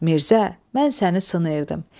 Mirzə, mən səni sınayırdım.